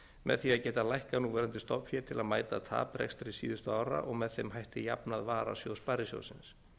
með því að getað lækkað núverandi stofnfé til að mæta taprekstri síðustu ára og með þeim hætti jafnað varasjóð sparisjóðsins